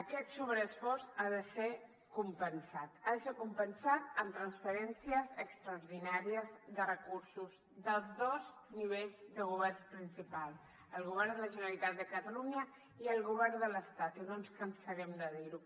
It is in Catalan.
aquest sobreesforç ha de ser compensat amb transferències extraordinàries de recursos dels dos nivells de governs principal el govern de la generalitat de catalunya i el govern de l’estat i no ens cansarem de dir ho